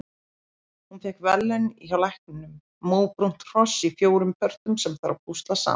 Hún fékk verðlaun hjá lækninum- móbrúnt hross í fjórum pörtum sem þarf að púsla saman.